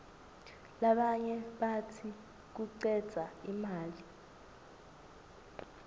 labanye batsi kucedza imali